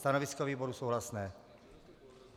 Stanovisko výboru souhlasné.